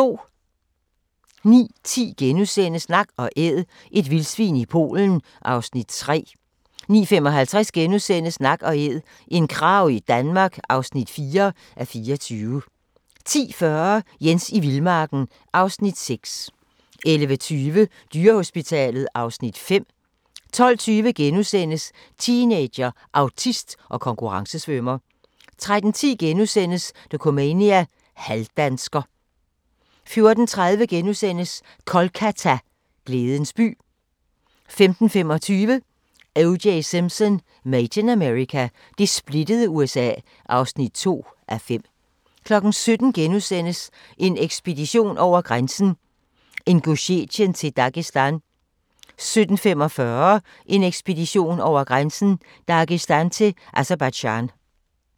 09:10: Nak & Æd – et vildsvin i Polen (3:24)* 09:55: Nak & æd - en krage i Danmark (4:24)* 10:40: Jens i vildmarken (Afs. 6) 11:20: Dyrehospitalet (Afs. 5) 12:20: Teenager, autist og konkurrencesvømmer * 13:10: Dokumania: Halvdansker * 14:30: Kolkata – glædens by * 15:25: O.J. Simpson: Made in America – det splittede USA (2:5) 17:00: En ekspedition over grænsen: Ingusjetien til Dagestan * 17:45: En ekspedition over grænsen: Dagestan til Aserbajdsjan